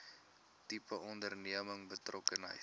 tipe onderneming betrokkenheid